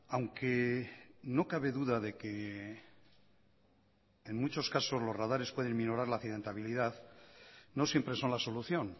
aunque no cabe duda de que en muchos casos los radares pueden minorar la accidentabilidad no siempre son la solución